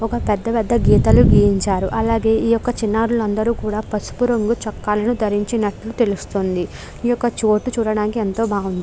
ఒక పెద్ద పెద్ద గీతాలు గీయించారు. అలాగే ఈ యొక్క చిన్నారులందరు కూడా పసుపు రంగు చొక్కాలను ధరించినట్లు తెలుస్తోంది. ఈ ఒక్క చోటు చూడటానికి ఎంతో బాగుంది.